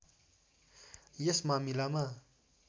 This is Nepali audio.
यस मामिलामा